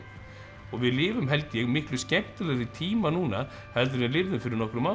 og við lifum held ég miklu skemmtilegri tíma núna heldur en við lifðum fyrir nokkrum árum